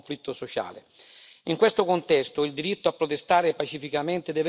In questo contesto il diritto a protestare pacificamente deve essere riconosciuto.